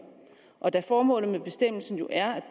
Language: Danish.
og da formålet med bestemmelsen jo er at